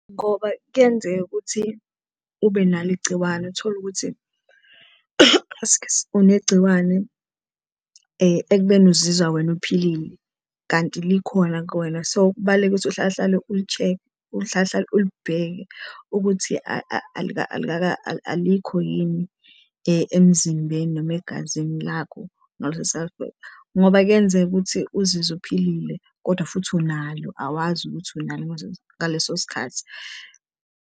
Ngoba kuyenzeka ukuthi ube nalo igciwane utholukuthi, askies unegciwane ekubeni uzizwa wena uphilile kanti likhona kuwena so, kubalulekile ukuthi uhlalehlale u-check, uhlalehlale ulibheke ukuthi alikho yini emzimbeni noma egazini lakho . Ngoba kuyenzeka ukuthi uzizwe uphilile kodwa futhi unalo awazi ukuthi unalo ngaleso sikhathi.